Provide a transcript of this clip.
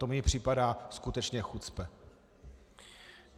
To mně připadá skutečně chucpe.